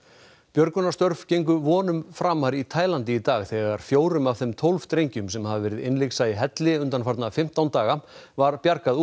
björgunarstörf gengu vonum framar í Taílandi í dag þegar fjórum af þeim tólf drengjum sem hafa verið innlyksa í helli undanfarna fimmtán daga var bjargað